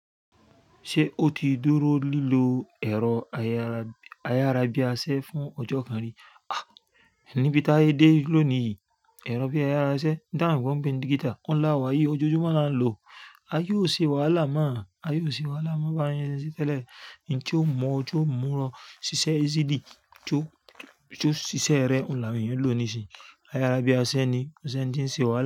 Ṣé ó ti dúró lílo ẹ̀rọ ayárabíása fún ọjọ́ kan rí? Áà, ní bí tayé dé lónìí yìí, ẹ̀rọ bi àyára iṣẹ́ tí àwọn òyìnbó pè ní dígítà, ohun la wà yìí o. Ójoojúmọ́ láa ń lò ó. Ayé ò ṣe wàlà mọ, ayé ò ṣe wàlà mọ́ bá yẹn ṣe ń se tẹ́lẹ̀. Ń tí ó mú ó ti o mú ó siṣẹ́ easily, tí ó ṣiṣẹ́ rẹ̀ ohun la àwọn èèyàn ń lò nísinsìnyí Ayárabíásẹ ni, kò ṣe ń ṣe wàlà.